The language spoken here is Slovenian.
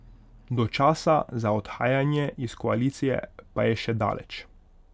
Do časa za odhajanje iz koalicije pa je še daleč.